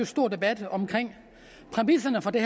stor debat om præmisserne for det